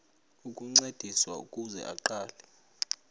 ukuncediswa ukuze aqale